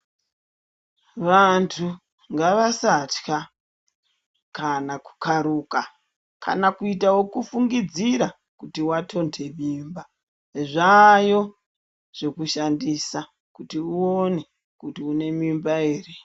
Vanthu ngavasatya kana kukharuka kana kuita ekufungidzira kuti wathonde mimba, zvaayo zvekushandisa kuti uone kuti une mimba ere.